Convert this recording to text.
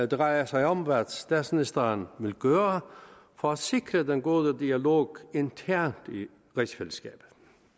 drejer sig om hvad statsministeren vil gøre for at sikre den gode dialog internt i rigsfællesskabet